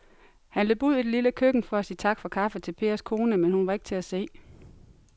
Han løb ud i det lille køkken for at sige tak for kaffe til Pers kone, men hun var ikke til at se.